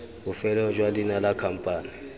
bofelong jwa leina la khamphane